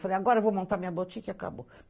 Falei, agora vou montar minha boutique e acabou.